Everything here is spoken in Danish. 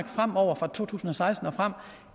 fra to tusind og seksten og frem